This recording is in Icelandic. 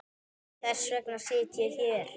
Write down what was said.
Þess vegna sit ég hér.